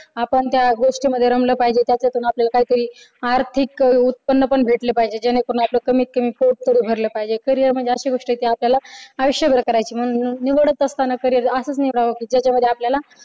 आपण त्या गोष्टीमध्ये रमलं पाहिजे त्याच्यातुन आपल्याला काहीतरी आर्थिक उत्पन्न पण भेटले पाहिजे जेणेकरून आपल कमीत कमी पोट तरी भरलं पाहिजे. carrier म्हणजे अशी गोष्ट आहे कि ती आपल्याला आयुष्यभर करायचे म्हणून निवडत असताना carrier असं निवडावं की ज्याच्या मध्ये